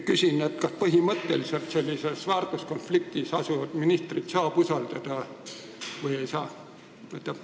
Kas põhimõtteliselt saab sellisesse väärtuskonflikti sattunud ministrit usaldada või ei saa?